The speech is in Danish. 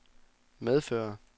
medfører